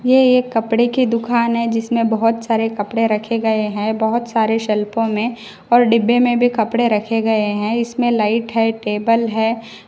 यह एक कपड़े की दुकान है जिसमें बहुत सारे कपड़े रखे गए हैं बहुत सारे शेल्पो में और डिब्बे में भी कपड़े रखे गए हैं इसमें लाइट है टेबल है।